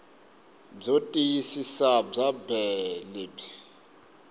byo tiyisisa bya bee lebyi